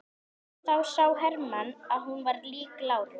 Þá sá Hermann hvað hún var lík láru.